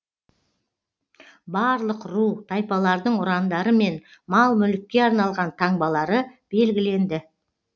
барлық ру тайпалардың ұрандары мен мал мүлікке арналған таңбалары белгіленді